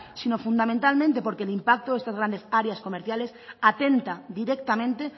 sino fundamentalmente porque el impacto de estas grandes áreas comerciales atenta directamente